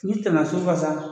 I bi tɛmɛ sugu kan sa